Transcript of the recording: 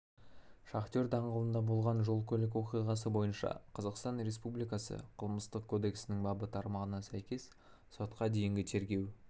шахтер даңғылында болған жол-көлік оқиғасы бойынша қазақстан республикасы қылмыстық кодексінің бабы тармағына сәйкес сотқа дейінгі тергеу